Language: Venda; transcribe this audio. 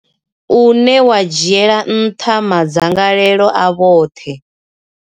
une wa dzhiela nṱha madzangalelo a vhoṱhe.